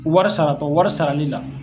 Wari saratɔ wari sarali la